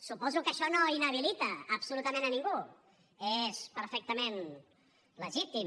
suposo que això no inhabilita absolutament a ningú és perfectament legítim